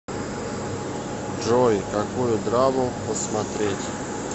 джой какую драму посмотреть